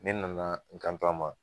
Ne nana n kan to a ma.